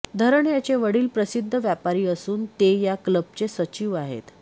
धरन याचे वडील प्रसिद्ध व्यापारी असून ते या क्लबचे सचिव आहेत